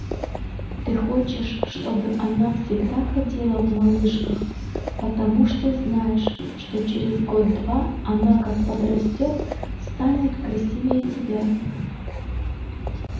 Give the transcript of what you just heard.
ты хочешь чтобы она всегда ходила в малышках потому что знаешь что через год-два она как подрастёт станет красивее тебя